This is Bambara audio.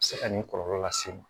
Se ka nin kɔlɔlɔ lase n ma